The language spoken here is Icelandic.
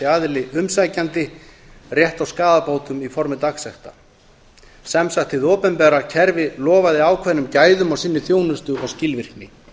aðili umsækjandi rétt á skaðabótum í formi dagsekta sem sagt hið opinbera kerfi lofaði ákveðnum gæðum á sinni þjónustu og skilvirkni